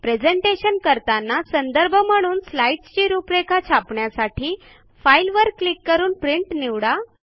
presentation करताना संदर्भ म्हणून स्लाईडसची रूपरेखा छापण्यासाठी फाइल वर क्लिक करून प्रिंट निवडा